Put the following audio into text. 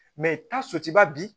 ba bi